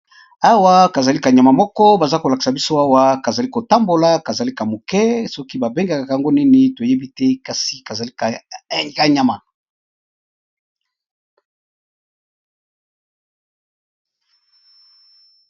Awa kazali kanyama moko baza kolakisa biso awa kazali kotambola kazalika moke soki babengaka yango nini toyebi te kasi kazali kanyama.